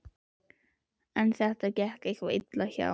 En þetta gekk eitthvað illa hjá